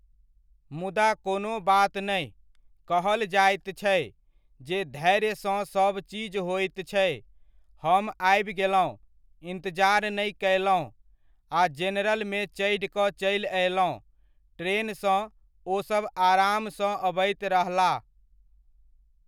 मुदा कोनो बात नहि, कहल जाइत छै जे धैर्यसँ सब चीज होइत छै, हम आबि गेलहुॅं, इन्तजार नहि कयलहुॅं आ जेनरल मे चढ़ि कऽ चलि अयलहुॅं ट्रेनसँ ,ओसब आरामसँ अबैत रहलाह।